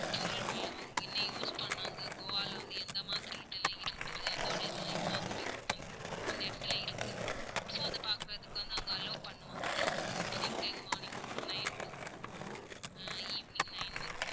பொருள்கள் எல்லாம் அவங்க என்ன use பண்ணாங்க கோவால வந்து எந்த மாதிரி இதெல்லாம் இருந்தது? அதோட இதெல்லாம் இன்னும் அந்த வீட்டுக்குள்ள் இருக்கு. அந்த இடத்துல இருக்கு so அத பாக்குறதுக்கு வந்து அவங்க allow பண்ணுவாங்க. அது opening time morning nine to அஹ் evening nine வரை தான்.